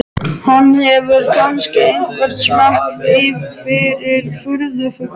Hann hefur kannski einhvern smekk fyrir furðufuglum.